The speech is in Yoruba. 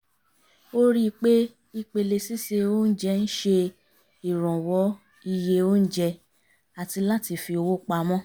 ó rí i pé ìpele síse oúnjẹ ń ṣe ìrànwọ́ iye oùnjẹ àti láti fi owó pamọ́